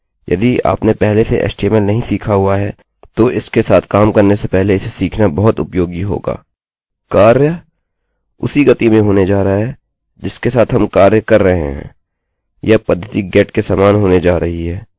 यदि आपने पहले से html नहीं सीखा हुआ है तो इसके साथ काम करने से पहले इसे सीखना बहुत उपयोगी होगा